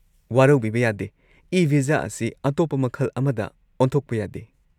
ꯋꯥꯔꯧꯕꯤꯕ ꯌꯥꯗꯦ, ꯏ-ꯚꯤꯖꯥ ꯑꯁꯤ ꯑꯇꯣꯞꯄ ꯃꯈꯜ ꯑꯃꯗ ꯑꯣꯟꯊꯣꯛꯄ ꯌꯥꯗꯦ꯫